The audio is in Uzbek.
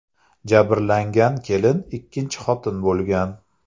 Jabrlangan kelin ikkinchi xotin bo‘lgan.